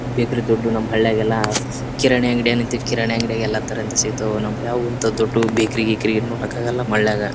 Bakery ದೊಡ್ದು ನಮ್ಮ ಹಳ್ಳಿಯಾಗೆಲ್ಲ ಕಿರಾಣಿ ಅಂಗಡಿ ಏನೈತಿ ಕಿರಾಣಿ ಅಂಗಡಿಯಲ್ಲಿ ಎಲ್ಲ ತರದ್ದು ಸಿಗ್ತಾವೆ ನಮಗೆ ಯಾವುದು ಅಂತ ದೊಡ್ಡ ಬೇಕರಿ ಗೀಕರಿ ಮಾಡಕ್ಕಾಗಲ್ಲ ನಮ್ಮ ಹಳ್ಳಿಯಾಗೆ.